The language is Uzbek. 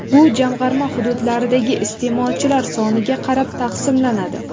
Bu jamg‘arma hududlardagi iste’molchilar soniga qarab taqsimlanadi.